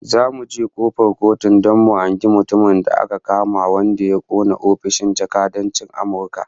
Zamu je kofar Kotun don mu hangi mutumin da aka kama wanda ya kona ofishin jakadancin Amurka